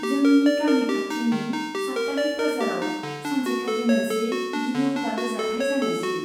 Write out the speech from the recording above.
जोंनि गामि खाथिनि साप्ताहिक बाजाराव सानसेखालि मोनसे गिलु बालु जाथाइ जानाइसै।